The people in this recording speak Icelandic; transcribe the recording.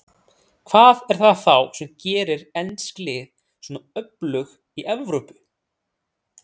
Hvað er það þá sem gerir ensk lið svona öflug í Evrópu?